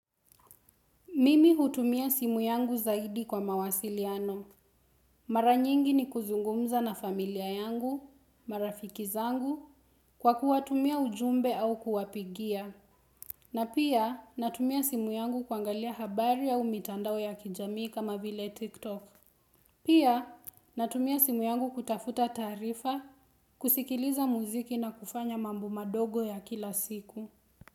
Mimi hutumia simu yangu zaidi kwa mawasiliano. Mara nyingi ni kuzungumza na familia yangu, marafiki zangu, kwa kuwatumia ujumbe au kuwapigia. Na pia natumia simu yangu kuangalia habari au mitandao ya kijamii kama vile TikTok. Pia natumia simu yangu kutafuta tarifa, kusikiliza muziki na kufanya mambu madogo ya kila siku.